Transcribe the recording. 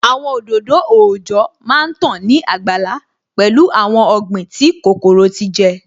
Àwọn òdòdó òòjọ́ má tán ní àgbàlá pẹ̀lú awon ọ̀gbìn tí kòkòrò ti jẹ